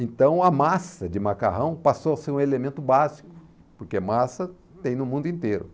Então a massa de macarrão passou a ser um elemento básico, porque massa tem no mundo inteiro.